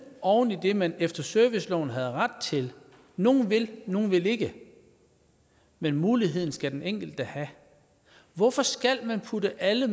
oven i det man efter serviceloven havde ret til nogle vil og nogle vil ikke men muligheden skal den enkelte have hvorfor skal man putte alle